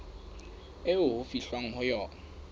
eo ho fihlwang ho yona